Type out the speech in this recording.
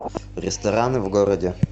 рестораны в городе